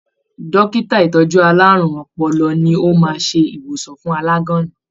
Dókítà ìtọjú àlárún ọpọlọ ní o máa n se ìwòsàn fún alaganna